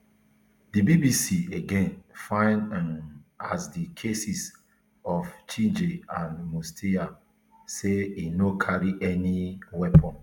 di bbc again find um as di cases of chege and mutisya say e no carry any weapon